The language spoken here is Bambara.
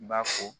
I b'a fɔ